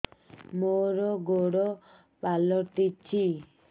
ମୋର ଗୋଡ଼ ପାଲଟିଛି